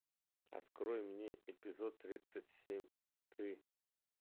открой мне эпизод тридцать семь ты